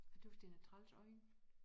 Jeg tøs den har træls øjne